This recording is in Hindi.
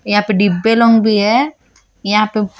यहां पे डिब्बे लोंग भी है यहां पे--